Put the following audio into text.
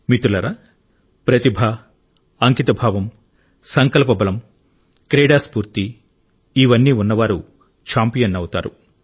మిత్రులారా ప్రతిభ అంకితభావం సంకల్ప బలం క్రీడా స్ఫూర్తి ఇవన్నీ ఉన్నవారు ఛాంపియన్ అవుతారు